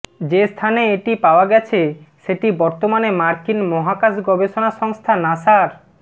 যে স্থানে এটি পাওয়া গেছে সেটি বর্তমানে মার্কিন মহাকাশ গবেষণা সংস্থা নাসার